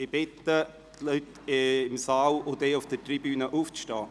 Ich bitte alle Anwesenden im Saal und auf der Tribüne, sich zu erheben.